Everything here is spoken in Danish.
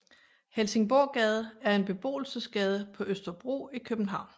Helsingborggade er en beboelsesgade på Østerbro i København